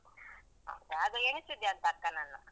ಹೌದ, ಅದು ಎನ್ಸಿದ್ಯಾ ಅಂತ ಅಕ್ಕನನ್ನು.